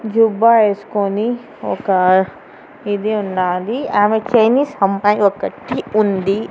జుబ్బా వేసుకొని ఒక ఇది ఉండాలి ఆమె చైనీస్ అమ్మాయి ఒకటి ఉంది.